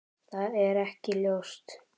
Það er ekki ljóst.